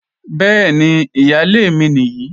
Bẹ́ẹ̀ni, ìyálé mi nìyí